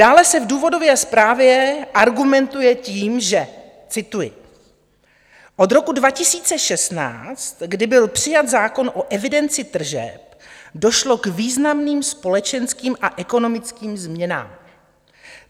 Dále se v důvodové zprávě argumentuje tím, že - cituji: "Od roku 2016, kdy byl přijat zákon o evidenci tržeb, došlo k významným společenským a ekonomickým změnám.